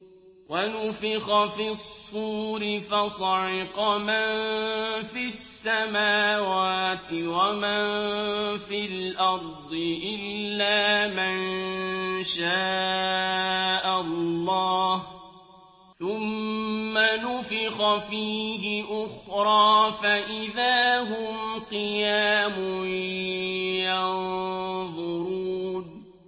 وَنُفِخَ فِي الصُّورِ فَصَعِقَ مَن فِي السَّمَاوَاتِ وَمَن فِي الْأَرْضِ إِلَّا مَن شَاءَ اللَّهُ ۖ ثُمَّ نُفِخَ فِيهِ أُخْرَىٰ فَإِذَا هُمْ قِيَامٌ يَنظُرُونَ